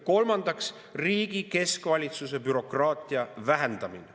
Kolmandaks, riigi keskvalitsuse bürokraatia vähendamine.